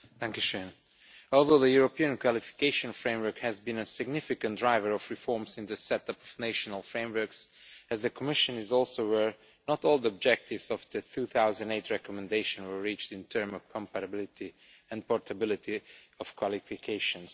Madam President, although the European Qualifications Framework has been a significant driver of reforms in the setup of national frameworks, as the Commission is also aware, not all the objectives of the 2008 recommendation were reached in terms of comparability and portability of qualifications.